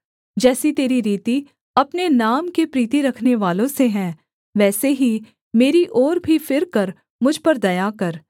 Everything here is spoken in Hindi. जैसी तेरी रीति अपने नाम के प्रीति रखनेवालों से है वैसे ही मेरी ओर भी फिरकर मुझ पर दया कर